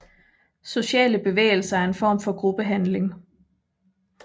Sociale bevægelser er en form for gruppehandling